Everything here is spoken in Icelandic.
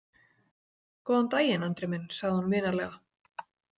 Góðan daginn, Andri minn, sagði hún vinalega.